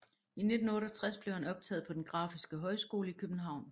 I 1968 blev han optaget på Den Grafiske Højskole i København